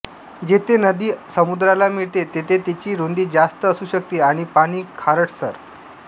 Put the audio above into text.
जेथे नदी समुद्राला मिळते तिथे तिची रुंदी जास्त असू शकते आणि पाणी खारटसर